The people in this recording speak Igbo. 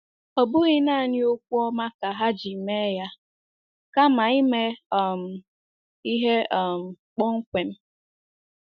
Ọ bụghị nanị okwu ọma ka ha ji mee ya kama ime um ihe um kpọmkwem.